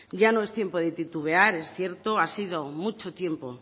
ya no es tiempo de titubear es cierto ha sido mucho tiempo